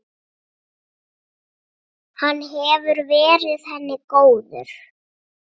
Hann hefur verið henni góður.